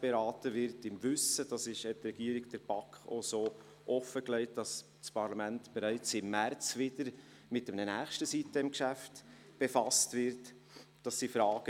beraten wird – dies hat die Regierung der BaK auch offengelegt –, im Wissen darum, dass das Parlament bereits im März wieder mit einem nächsten sitem-Geschäft befasst werden wird.